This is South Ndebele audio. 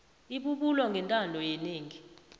ibubulo ngentando yenengi